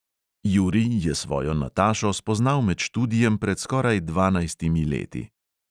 Jurij je svojo natašo spoznal med študijem pred skoraj dvanajstimi leti.